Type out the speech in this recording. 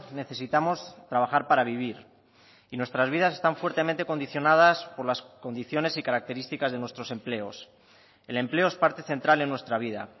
necesitamos trabajar para vivir y nuestras vidas están fuertemente condicionadas por las condiciones y características de nuestros empleos el empleo es parte central en nuestra vida